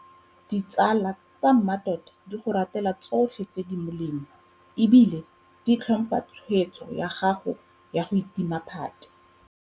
Ditsala tsa mmatota di go ratela tsotlhe tse di molemo e bile di tlhompha tshwetso ya gago ya go itima phate.